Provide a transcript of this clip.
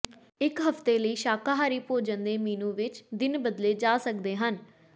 ਇੱਕ ਹਫ਼ਤੇ ਲਈ ਸ਼ਾਕਾਹਾਰੀ ਭੋਜਨ ਦੇ ਮੀਨੂੰ ਵਿੱਚ ਦਿਨ ਬਦਲੇ ਜਾ ਸਕਦੇ ਹਨ